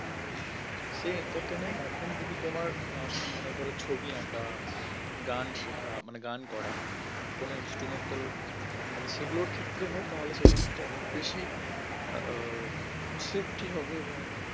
সেই entertain এর মাধ্যম যদি তোমার মানে ধরো ছবি আঁকা গান শেখা মানে গান করা কোন instrumental মানে সেগুলোর ক্ষেত্রে হয় তাহলে সেটা কিন্তু অনেক বেশি উম safety হবে এবং